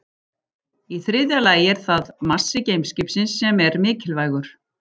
Í þriðja lagi er það massi geimskipsins sem er mikilvægur.